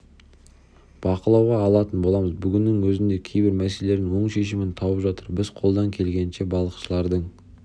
бақылауға алатын боламыз бүгіннің өзінде кейбір мәселелер оң шешімін тауып жатыр біз қолдан келгенінше балықшылардың